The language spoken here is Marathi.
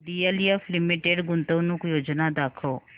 डीएलएफ लिमिटेड गुंतवणूक योजना दाखव